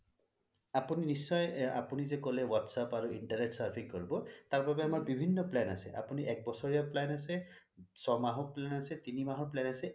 আপুনি যে কলে WhatsApp আৰু internet surfing কৰিব তাৰ বাবে আমাৰ বিভিন্ন plan আছে আপুনি এক বছৰীয়া plan আছে ছমাহ plan আছে তিনি মাহৰ plan আছে